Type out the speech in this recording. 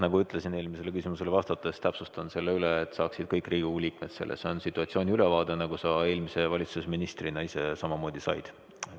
Nagu ma ütlesin eelmisele küsimusele vastates, täpsustan selle üle, et saaksid kõik Riigikogu liikmed selle: see on situatsiooni ülevaade, nagu sa eelmise valitsuse ministrina ise samamoodi said.